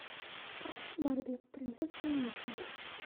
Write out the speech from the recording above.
барби принцесса и нищенка